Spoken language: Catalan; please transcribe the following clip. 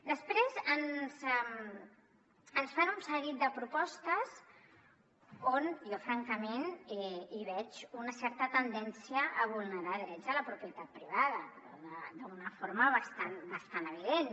després ens fan un seguit de propostes on jo francament hi veig una certa tendència a vulnerar drets a la propietat privada però d’una forma bastant evident